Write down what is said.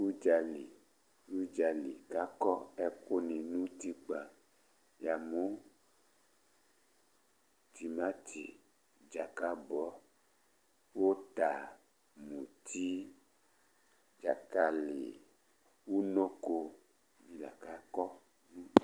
Ʋdzali, ʋdzali kʋ akɔ ɛkʋ ni nʋ ʋtikpa Yamʋ timati, dzakabɔ, ʋta, muti, dzakali, ʋnɔko ni la kʋ akɔ nʋ